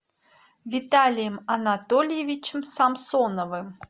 виталием анатольевичем самсоновым